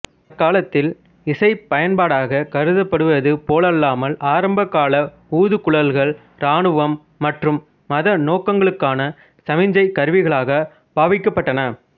தற்காலத்தில் இசைப் பயன்பாடாக கருதப்படுவது போலல்லாமல் ஆரம்பகால ஊதுகுழல்கள் இராணுவம் மற்றும் மத நோக்கங்களுக்கான சமிஞ்ஞை கருவிகளாக பாவிக்கப்பட்டன